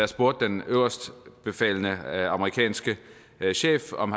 spurgte den øverstbefalende amerikanske chef om